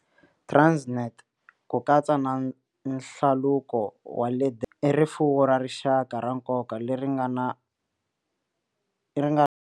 Transnet, ku katsa na Hlaluko wa le Durban, i rifuwo ra rixaka ra nkoka leri nga na.